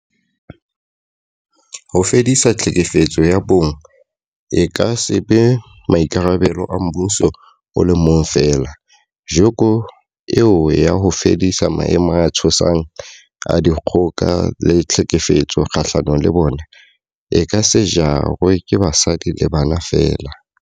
Ho fedisa tlhekefetso ya bong e ka se be maikarabelo a mmuso o le mong feela, joko eo ya ho fedisa maemo a tshosang a dikgoka le tlhekefetso kgahlano le bona, e ka se jarwe ke basadi le bana feela.